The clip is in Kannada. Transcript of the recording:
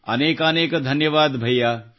ಅನೇಕಾನೇಕ ಧನ್ಯವಾದ ಸೋದರಾ